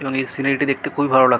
এবং এই সিনারি -টি দেখতে খুবই ভালো লাগলো।